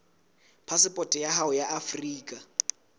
phasepoto ya hao ya afrika